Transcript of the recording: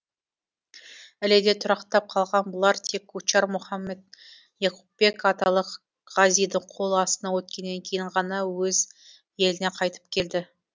іледе тұрақтап қалған бұлар тек кучар мұхаммед яқупбек аталық ғазидің қол астына өткеннен кейін ғана өз еліне қайтып келді